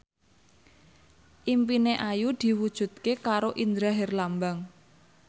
impine Ayu diwujudke karo Indra Herlambang